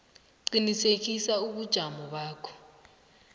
qinisekisa ubujamo bakho